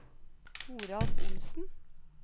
Toralf Olsen